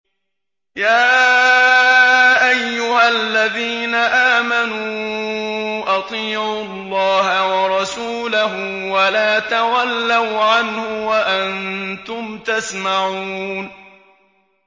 يَا أَيُّهَا الَّذِينَ آمَنُوا أَطِيعُوا اللَّهَ وَرَسُولَهُ وَلَا تَوَلَّوْا عَنْهُ وَأَنتُمْ تَسْمَعُونَ